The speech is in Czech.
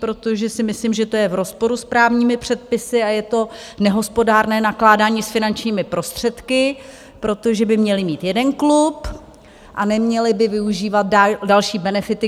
Protože si myslím, že to je v rozporu s právními předpisy a je to nehospodárné nakládání s finančními prostředky, protože by měli mít jeden klub a neměli by využívat další benefity.